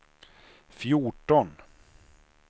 fjorton